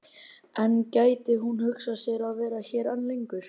En gæti hún hugsað sér að vera hér enn lengur?